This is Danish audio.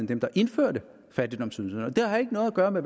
dem der indførte fattigdomsydelserne det har ikke noget at gøre med